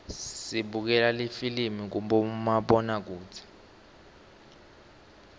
sibukela lifilimi kumabonakudze